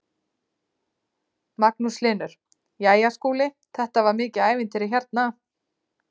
Magnús Hlynur: Jæja Skúli þetta var mikið ævintýri hérna?